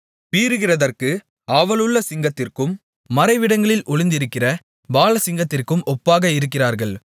பீறுகிறதற்கு ஆவலுள்ள சிங்கத்திற்கும் மறைவிடங்களில் ஒளிந்திருக்கிற பாலசிங்கத்திற்கும் ஒப்பாக இருக்கிறார்கள்